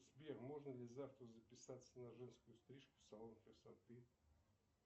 сбер можно ли завтра записаться на женскую стрижку в салон красоты